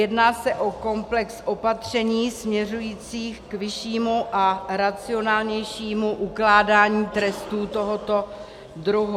Jedná se o komplex opatření směřujících k vyššímu a racionálnějšímu ukládání trestů tohoto druhu.